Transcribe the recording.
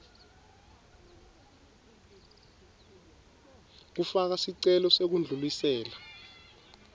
kufaka sicelo sekudlulisela